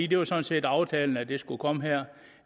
det var sådan set aftalen at det skulle komme her